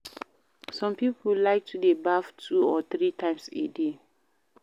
Some pipo like to de baff two to three times a day